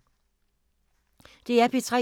DR P3